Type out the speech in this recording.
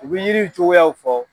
U bɛ yiri cogoyaw fɔ.